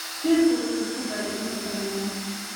Jiirku wuxuu isku dayay inuu i qaniino.